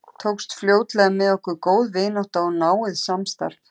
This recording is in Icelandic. Tókst fljótlega með okkur góð vinátta og náið samstarf.